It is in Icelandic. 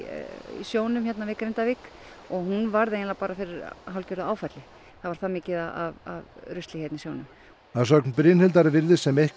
sjónum við Grindavík og hún varð eiginlega fyrir hálfgerðu áfalli það var það mikið af rusli hérna í sjónum að sögn Brynhildar virðist sem eitthvað